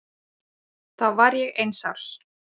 Þá var ég eins árs.